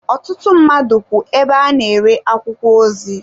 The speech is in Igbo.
Ọtụtụ mmadụ kwú ebe a na-ere akwụkwọ ozi.